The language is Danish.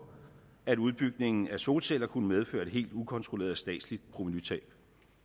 at udbygningen af solceller kunne medføre et helt ukontrolleret statsligt provenutab